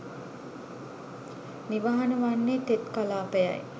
නිවහන වන්නේ තෙත් කලාපය යි